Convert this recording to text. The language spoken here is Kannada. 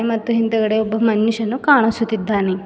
ಮತ್ತು ಹಿಂದಗಡೆ ಒಬ್ಬ ಮನುಷ್ಯನು ಕಾಣಿಸುತ್ತಿದ್ದಾನೆ.